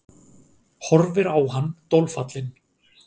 Horfir á hann dolfallin.